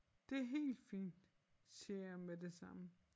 Det helt fint siger jeg med det samme